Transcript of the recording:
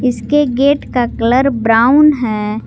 इसके गेट का colour brown है।